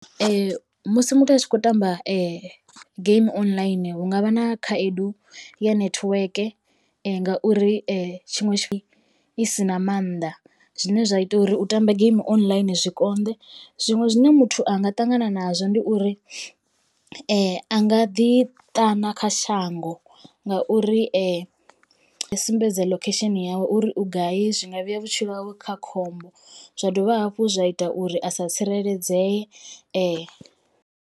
Musi muthu a tshi khou tamba game online hu ngavha na khaedu ya netiweke ngauri tshiṅwe tshifhinga i si na mannḓa zwine zwa ita uri u tamba game online zwi konḓe zwiṅwe zwine muthu anga ṱangana nazwo ndi uri a nga ḓi ṱana kha shango ngauri sumbedza location yawe uri u gai zwi nga vhea vhutshilo hawe kha khombo zwa dovha hafhu zwa ita uri a sa tsireledzee.